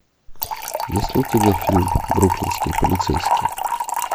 есть ли у тебя фильм бруклинские полицейские